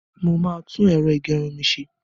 Mo máa tún ẹ̀rọ ìgẹrun mi ṣe.